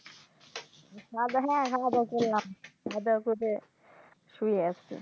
হা বেহেন খাওয়াদাওয়া করলাম খাওয়াদাওয়া করে শুয়ে আছি